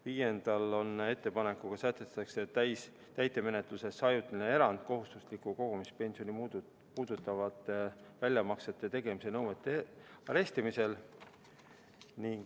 Viienda ettepanekuga sätestatakse täitemenetluses ajutine erand kohustuslikku kogumispensioni puudutavate väljamaksete tegemise nõuete arestimisel.